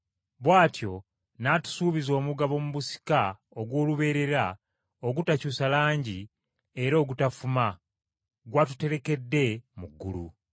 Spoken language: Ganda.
Bw’atyo n’atusuubiza omugabo mu busika, ogw’olubeerera ogutakyusa langi era ogutafuma, gw’atuterekedde mu ggulu.